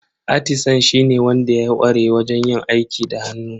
Atisan shine wanda ya ƙware wajen yin aiki da hannu.